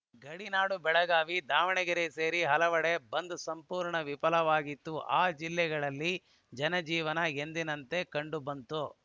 ಗಡಿನಾಡು ಬೆಳಗಾವಿ ದಾವಣಗೆರೆ ಸೇರಿ ಕೆಲವೆಡೆ ಬಂದ್‌ ಸಂಪೂರ್ಣ ವಿಫಲವಾಗಿತ್ತು ಆ ಜಿಲ್ಲೆಗಳಲ್ಲಿ ಜನಜೀವನ ಎಂದಿನಂತೆ ಕಂಡುಬಂತು